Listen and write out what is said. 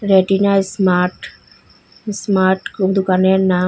Retina smart smart কোন দুকানের নাম।